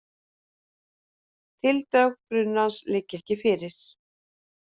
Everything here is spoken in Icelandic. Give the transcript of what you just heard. Tildrög brunans liggja ekki fyrr